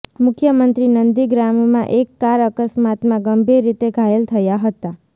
મુખ્યમંત્રી નંદીગ્રામમાં એક કાર અકસ્માતમાં ગંભીર રીતે ઘાયલ થયા હતા